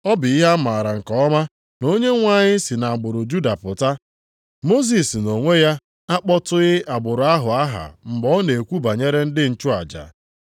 Ọ bụ ihe a mara nke ọma na Onyenwe anyị si nʼagbụrụ Juda pụta, Mosis nʼonwe ya akpọtụghị agbụrụ ahụ aha mgbe ọ na-ekwu banyere ndị nchụaja.